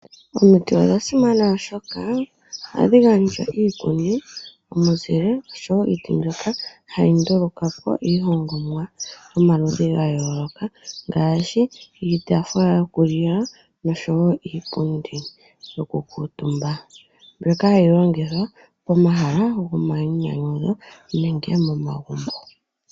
Omiti odha simana oshoka ohadhi gandja iikuni, omizile oshowo iiti mbyoka hayi ndulungwapo iihongomwa yomaludhi ga yooloka ngaashi iitafula yokulila noshowo iipundi yokukuutumba, mbyoka hayi longithwa pomahala gomainyanyudho nenge momagumbo.